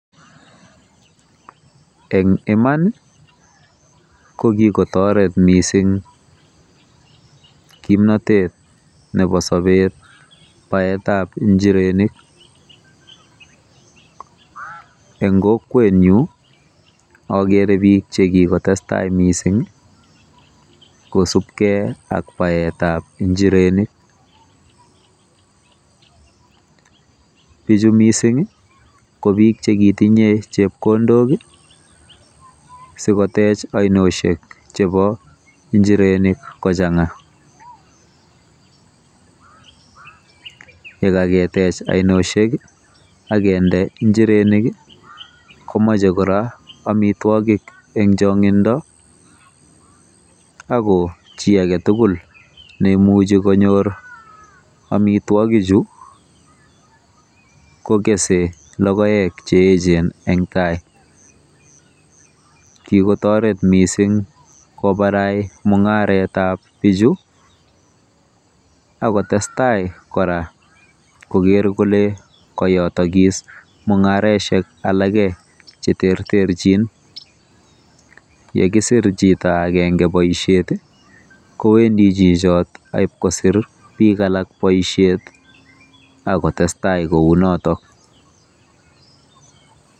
En iman ko kikotoret missing kimnotete nebo sobet baet ab njirenik, en kokwenyun agere biik chekikotestai missing kosipkei ak baet ab njirenik, bichu missing ko biik chekitinye chebkondok ii sikotech ainosyek chebo njirenik kochang'a, yekaketech ainosyek ii akinde njirenik ii komache kora omitwogik en chong'indo, ako chii agetugul neimuche konyor amitwogi chu ko gese logoek cheechen en gaa, kikotoret missing kobarait mung'aret ab bichu ak kotestai kora koger kole koyotogis mung'araisiek alak cheterterchin, yekisir chito agenge boisiet i kowendi chichotet ak kobakosir biik alak boisiet ak ktestai kounoton.